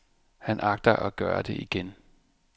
Han agter at gøre det igen.